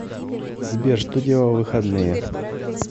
сбер что делала в выходные